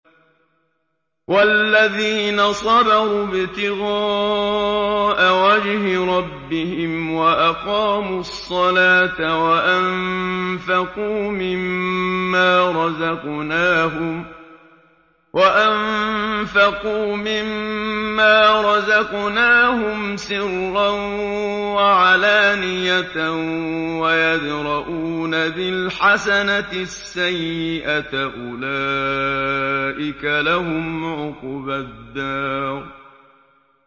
وَالَّذِينَ صَبَرُوا ابْتِغَاءَ وَجْهِ رَبِّهِمْ وَأَقَامُوا الصَّلَاةَ وَأَنفَقُوا مِمَّا رَزَقْنَاهُمْ سِرًّا وَعَلَانِيَةً وَيَدْرَءُونَ بِالْحَسَنَةِ السَّيِّئَةَ أُولَٰئِكَ لَهُمْ عُقْبَى الدَّارِ